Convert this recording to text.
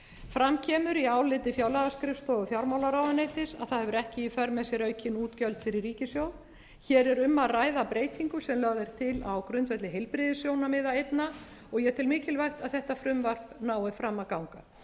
fram kemur í áliti fjárlagaskrifstofu fjármálaráðuneytis að það hefur ekki í sér aukinn útgjöld fyrir ríkissjóð hér er um að ræða breytingu sem lögð er til á grundvelli heilbrigðissjónarmiða einna og ég tel mikilvægt að þetta frumvarp nái fram að ganga